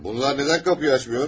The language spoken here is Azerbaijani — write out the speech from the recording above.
Bunlar nədən qapıyı açmır?